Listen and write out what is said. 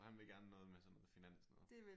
Så han vil gerne noget med sådan noget finans-noget?